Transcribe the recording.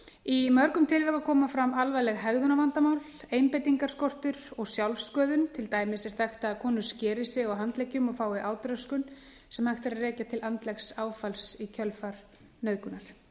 í mörgum tilvika koma fram alvarleg hegðunarvandamál einbeitingarskortur og sjálfssköðun til dæmis er þekkt að konur skeri sig á handleggjum og fái átröskun sem hægt er að rekja til andlegs áfalls í kjölfar nauðgunar